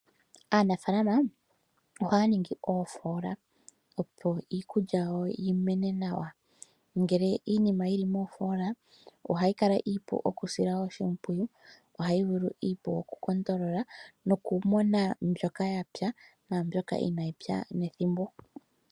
Aanamapya ohayi ningi oofola opo iikulya yawo yi mene nawa. Ngele iinima oyili moofoola ohayi kala iipu okusila oshimpwiyu noku mona mbyoka yapya naambyoka inayi pya nethimbo.